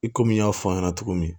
I komi n y'a fɔ a ɲɛna cogo min